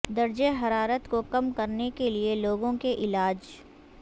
درجہ حرارت کو کم کرنے کے لئے لوگوں کے علاج